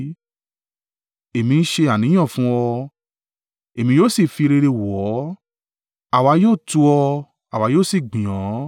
Èmi ń ṣe àníyàn fún ọ, èmi yóò sì fi rere wọ̀ ọ́; àwa yóò tu ọ́, àwa yóò sì gbìn ọ́,